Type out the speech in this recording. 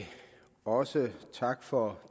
også takke for